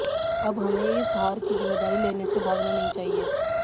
अब हमें इस हार की जिम्मेदारी लेने से भागना नहीं चाहिए